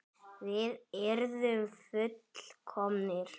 Við yrðum full- komnir.